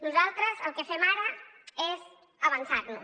nosaltres el que fem ara és avançar nos